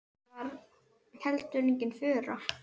Það var heldur engin furða.